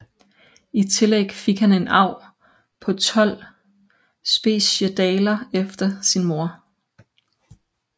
I tillæg fik han en arv på 12 speciedaler efter sin mor